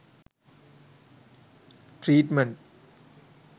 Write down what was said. treatment